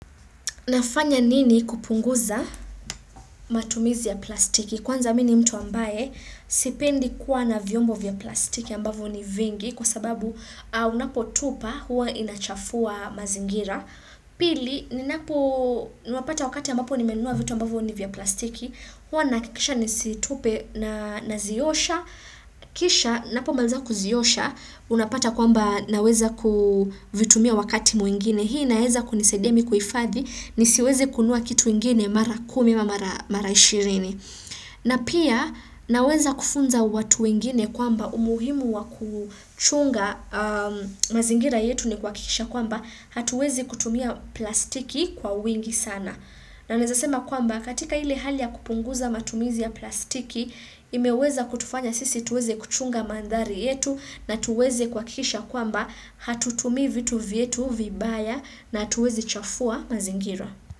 Nafanya nini kupunguza matumizi ya plastiki kwanza mini mtu ambaye sipendi kuwa na vyombo vya plastiki ambavo ni vingi kwa sababu unapotupa huwa inachafua mazingira pili, ninapo nuapata wakati ambapo nimenua vitu ambavo ni vya plastiki huwa nakikisha nisitupe naziyosha kisha, napo maliza kuziyosha unapata kwamba naweza kuvitumia wakati muingine hii naeza kunisaidia mi kuifadhi nisiwezi kunua kitu ingine mara kumi ma mara ishirini. Na pia naweza kufunza watu wingine kwamba umuhimu wa kuchunga mazingira yetu ni kwakisha kwamba hatuwezi kutumia plastiki kwa wingi sana. Na naezasema kwamba katika hili hali ya kupunguza matumizi ya plastiki imeweza kutufanya sisi tuwezi kuchunga mandari yetu na tuweze kwakisha kwamba hatutumi vitu vietu vibaya na hatuwezi chafua mazingira.